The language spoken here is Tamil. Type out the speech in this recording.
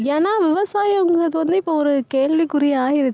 ஏன்னா, விவசாயம்ங்கறது வந்து, இப்போ ஒரு, கேள்விக்குறியா ஆயிருச்சு